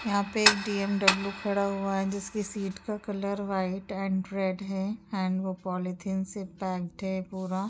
यहाँ पे एक डी.म.डब्लू खड़ा हुआ है जिसके सीट का कलर वाइट एंड रेड है एंड वो पॉलीथिन से पैक्ड है पूरा।